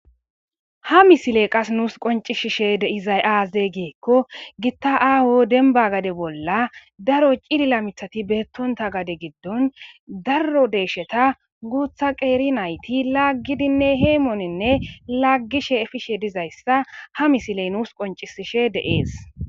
Ha misile qas nuus qoncishishe de izayaazey giekko gitta aaho denba gade bolla daro cilila mithati beettonta gade giddon darro deesheta guutha qeeri nayti laaggidinne heymooninne laaggishe efishe dizayssa ha misiley nuus qoncisishe deees.